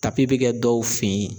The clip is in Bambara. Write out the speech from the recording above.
tapi be kɛ dɔw fe yen